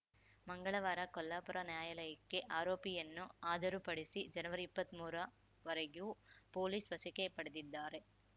ಮಂಗಳವಾರ ಕೊಲ್ಲಾಪುರ ನ್ಯಾಯಾಲಯಕ್ಕೆ ಆರೋಪಿಯನ್ನು ಹಾಜರುಪಡಿಸಿ ಜನವರಿಇಪ್ಪತ್ಮೂರ ವರೆಗೂ ಪೊಲೀಸ್‌ ವಶಕ್ಕೆ ಪಡೆದಿದ್ದಾರೆ